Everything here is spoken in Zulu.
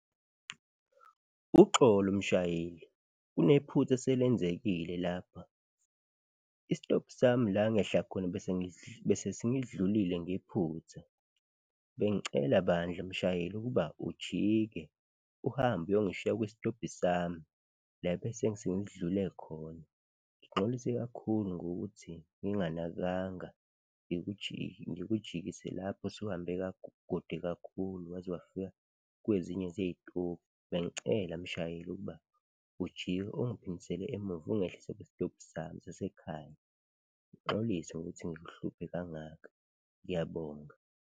Uxolo mshayeli, kunephutha eselenzekile lapha. Isitobhi sami la engehla khona bese sengidlulile ngephutha, bengicela bandla mshayeli ukuba ujike, uhambe uyongishiya kwisitobhi sami la ebese sengidlule khona. Ngixolise kakhulu ngokuthi nginganakanga, ngikujikise lapho usuhambe kude kakhulu waze wafika kwezinye zey'tobhi. Bengicela mshayeli ukuba ujike, ungiphindisele emuva ungehlise kwisitobhi sami sasekhaya, ngixolise ngokuthi ngikuhluphe kangaka, ngiyabonga.